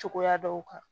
Cogoya dɔw kan